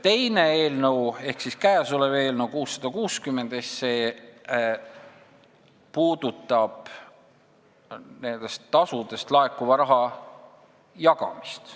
Teine ehk käesolev eelnõu 660 puudutab nendest tasudest laekuva raha jagamist.